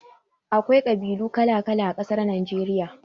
Akwai ƙabilu kala-kala a ƙasar Nageriya.